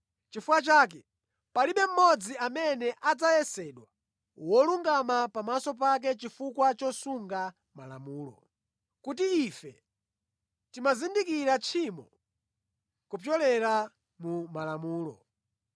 Chifukwa chake palibe mmodzi amene adzayesedwa wolungama pamaso pake chifukwa chosunga Malamulo, kuti ife timazindikira tchimo kupyolera mu Malamulo.